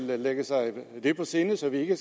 vil lægge sig det på sinde så vi ikke